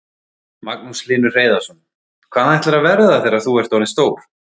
Magnús Hlynur Hreiðarsson: Hvað ætlarðu að verða þegar þú ert orðinn stór?